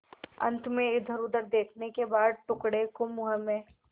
अंत में इधरउधर देखने के बाद टुकड़े को मुँह में